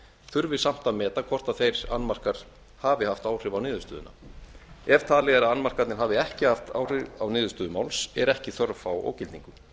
þurfi samt að meta hvort þeir annmarkar hafi haft áhrif á niðurstöðuna ef talið er að annmarkarnir hafi ekki haft áhrif á niðurstöðu máls er ekki þörf á ógildingu